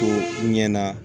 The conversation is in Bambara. Ko u ɲɛna